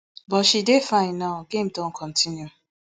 but she dey fine now game don kontinu